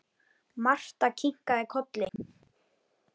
Marta kinkaði kolli.